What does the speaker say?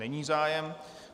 Není zájem.